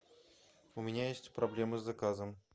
у меня есть проблемы с заказом